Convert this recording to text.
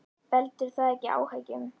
Veldur það ekki áhyggjum?